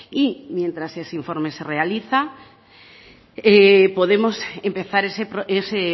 y mientras ese informe se realiza podemos empezar ese